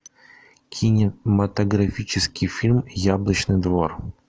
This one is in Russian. кинематографический фильм яблочный двор